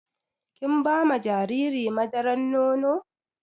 Kin ba ma jariri madaran nono?